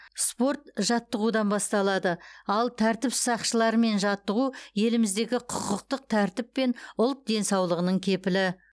спорт жаттығудан басталады ал тәртіп сақшыларымен жаттығу еліміздегі құқықтық тәртіп пен ұлт денсаулығының кепілі